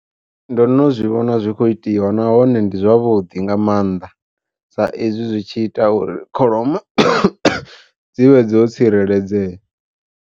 Ndo no zwi vhona zwi kho itiwa nahone ndi zwavhuḓi nga maanḓa, sa ezwi zwi tshi ita uri kholomo dzi vhe dzo tsireledzea.